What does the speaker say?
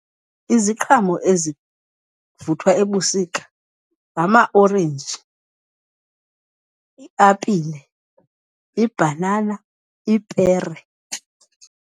Iziqhamo ezivuthwa ebusika ngama-orenji, i-apile, ibhanana, ipere.